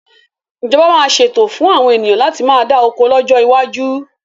Ìjọba máa ṣètò fún àwọn ènìyàn láti má dá oko lọ́jọ́ iwájú